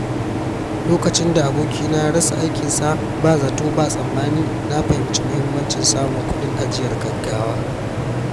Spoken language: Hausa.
Lokacin da abokina ya rasa aikinsa ba zato ba tsammani, na fahimci muhimmancin samun kuɗin ajiyar gaugawa.